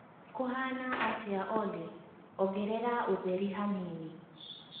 kũhana atĩa olly ongerera ũtheri hanini